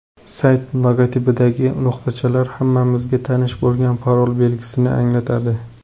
Sayt logotipidagi nuqatachalar hammamizga tanish bo‘lgan parol belgisini anglatadi.